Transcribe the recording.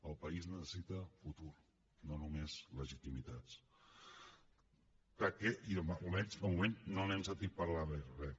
el país necessita futur no només legitimitats almenys de moment no n’hem sentit parlar gairebé res